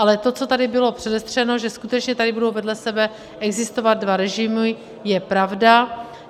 Ale to, co tady bylo předestřeno, že skutečně tady budou vedle sebe existovat dva režimy, je pravda.